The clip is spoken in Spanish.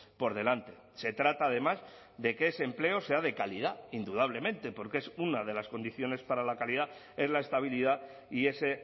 por delante se trata además de que ese empleo sea de calidad indudablemente porque es una de las condiciones para la calidad es la estabilidad y ese